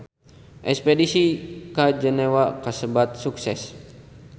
Espedisi ka Jenewa kasebat sukses